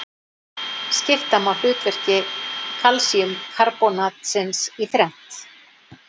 Skipta má hlutverki kalsíumkarbónatsins í þrennt.